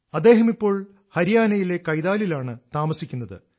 അദ്ദേഹം ഇപ്പോൾ ഹരിയാനയിലെ കൈതാലിലാണ് താമസിക്കുന്നത്